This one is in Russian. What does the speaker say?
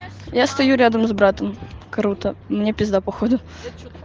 я стою рядом с братом круто мне пизда походу